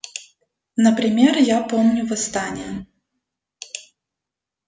например я помню восстание